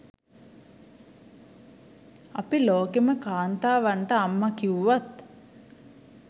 අපි ලෝකෙම කාන්තාවන්ට අම්ම කිව්වත්